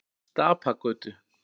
Stapagötu